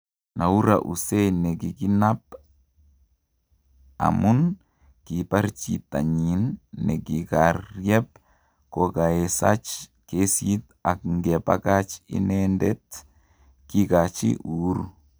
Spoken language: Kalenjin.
Noura Hussein nekikinap amun kipar jitanyin ne nikaryep kokaesach kesit ak ngepakach inetet kikachi uhuru